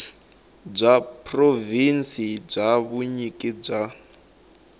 bya provhinsi bya vunyiki bya